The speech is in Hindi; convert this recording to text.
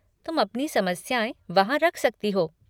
तुम अपनी समस्याएँ वहाँ रख सकती हो।